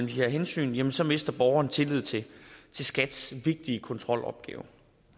de her hensyn jamen så mister borgeren tilliden til skats vigtige kontrolopgaver